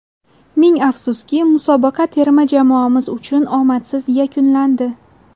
Ming afsuski, musobaqa terma jamoamiz uchun omadsiz yakunlandi.